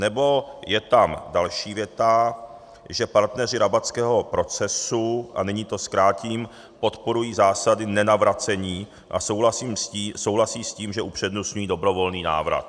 Nebo je tam další věta, že partneři Rabatského procesu, a nyní to zkrátím, podporují zásady nenavracení a souhlasí s tím, že upřednostňují dobrovolný návrat.